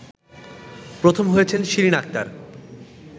প্রথম হয়েছেন শিরিন আক্তার